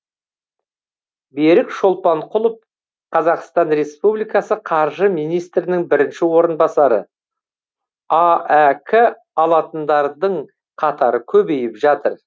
берік шолпанқұлов қазақстан республикасы қаржы министрінің бірінші орынбасары аәк алатындардың қатары көбейіп жатыр